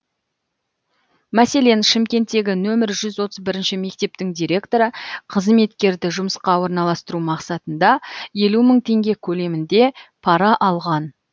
мәселен шымкенттегі нөмірі жүз отыз бірінші мектептің директоры қызметкерді жұмысқа орналстыру мақсатында елу мың теңге көлемінде пара алған